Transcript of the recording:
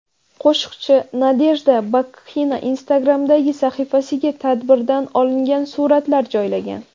Qo‘shiqchi Nadejda Babkina Instagram’dagi sahifasiga tadbirdan olingan suratlar joylagan.